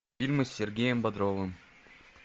фильмы с сергеем бодровым